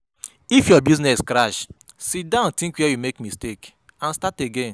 If your business crash, siddon tink where you make mistake and start again.